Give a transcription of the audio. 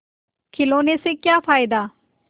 खिलौने से क्या फ़ायदा